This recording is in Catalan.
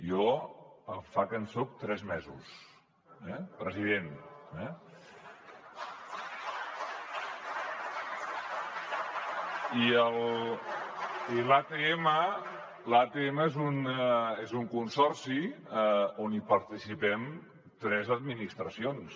jo en fa que en soc tres mesos president eh i l’atm és un consorci on participem tres administracions